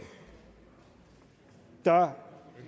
der er